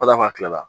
kila la